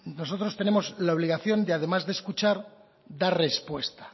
nosotros tenemos la obligación de además de escuchar dar respuesta